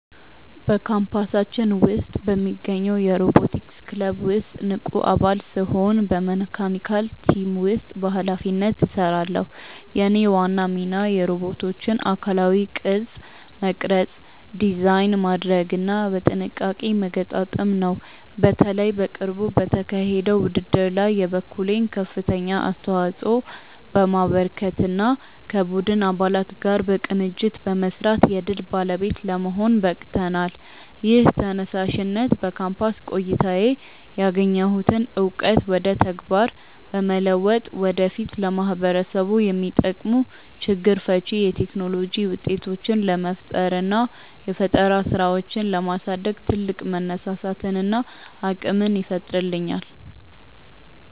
በካምፓሳችን ውስጥ በሚገኘው የሮቦቲክስ ክለብ ውስጥ ንቁ አባል ስሆን በመካኒካል ቲም ውስጥ በኃላፊነት እሰራለሁ። የእኔ ዋና ሚና የሮቦቶቹን አካላዊ ቅርጽ መቅረጽ፣ ዲዛይን ማድረግና በጥንቃቄ መገጣጠም ነው። በተለይ በቅርቡ በተካሄደው ውድድር ላይ የበኩሌን ከፍተኛ አስተዋጽኦ በማበርከትና ከቡድን አባላት ጋር በቅንጅት በመስራት የድል ባለቤት ለመሆን በቅተናል። ይህ ተነሳሽነት በካምፓስ ቆይታዬ ያገኘሁትን እውቀት ወደ ተግባር በመለወጥ ወደፊት ለማህበረሰቡ የሚጠቅሙ ችግር ፈቺ የቴክኖሎጂ ውጤቶችን ለመፍጠርና የፈጠራ ስራዎችን ለማሳደግ ትልቅ መነሳሳትንና አቅምን ይፈጥርልኛል።